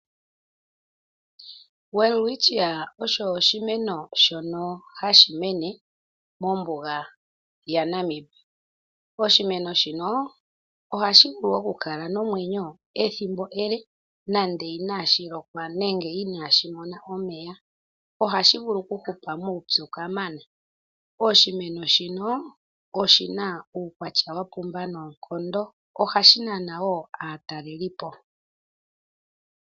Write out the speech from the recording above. Welwitchia osho oshimeno shono hashi mene mombuga yaNamib. Oshimeno shino ohashi vulu okukala nomwenyo ethimbo ele nande inashi lokwa nenge inashi mona omeya. Ohashi vulu okuhupa muupyu kamana. Oshimeno shino oshi na uukwatya wa pumba noonkondo. Ohashi nana wo aatalelipo.